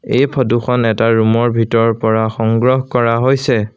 এই ফটো খন এটা ৰুম ৰ ভিতৰৰ পৰা সংগ্ৰহ কৰা হৈছে।